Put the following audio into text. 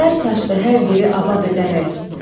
Zər saçdı hər yeri abad edərək.